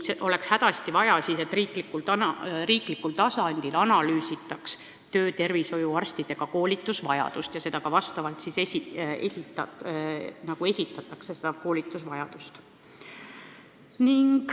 Oleks hädasti vaja, et riiklikul tasandil analüüsitaks töötervishoiuarstide koolitamise vajadust ja seda vastavalt ka esitataks.